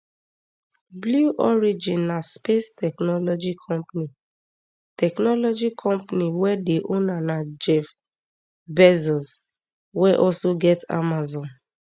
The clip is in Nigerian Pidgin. blue origin na space technology company technology company wey di owner na jeff bezos wey also get amazon